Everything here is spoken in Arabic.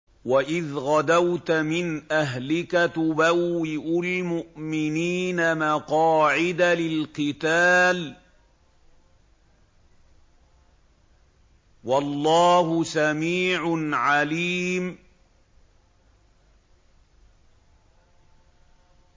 وَإِذْ غَدَوْتَ مِنْ أَهْلِكَ تُبَوِّئُ الْمُؤْمِنِينَ مَقَاعِدَ لِلْقِتَالِ ۗ وَاللَّهُ سَمِيعٌ عَلِيمٌ